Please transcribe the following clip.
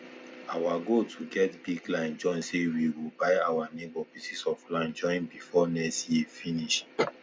our goal to get big land join say we go buy our neighbour pieces of land join befor next year finis